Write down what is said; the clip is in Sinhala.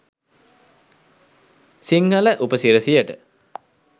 සිංහල උපසිරැසියට.